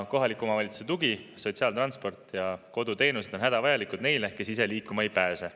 Kohaliku omavalitsuse tugi, sotsiaaltransport ja koduteenused on hädavajalikud neile, kes ise liikuma ei pääse.